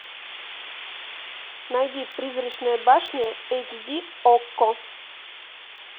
найди призрачная башня эйч ди окко